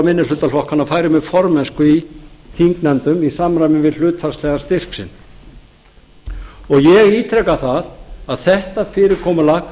minnihlutaflokkanna færu með formennsku í þingnefndum í samræmi við hlutfallslegan styrk sinn ég ítreka það að þetta fyrirkomulag